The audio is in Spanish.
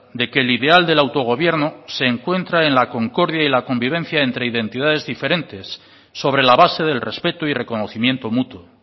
de que el ideal del autogobierno se encuentra en la concordia y la convivencia entre identidades diferentes sobre la base del respeto y reconocimiento mutuo